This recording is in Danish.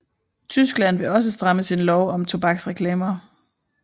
Tyskland vil også stramme sin lov om tobaksreklamer